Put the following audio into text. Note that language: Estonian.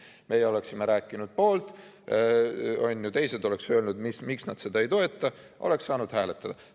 Meie oleksime rääkinud selle poolt, teised oleksid öelnud, miks nad seda ei toeta, ja oleks saanud hääletada.